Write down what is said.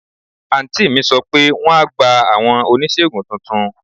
Àǹtí mi sọ pé wọ́n á gba àwọn oníṣègùn tuntun.